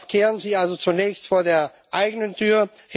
Kehren Sie also zunächst vor der eigenen Tür!